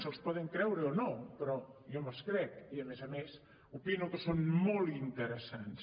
se’ls poden creure o no però jo me’ls crec i a més a més opino que són molt interessants